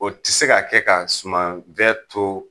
O ti se ka kɛ ka suman fɛn to